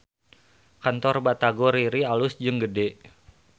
Kantor Batagor Riri alus jeung gede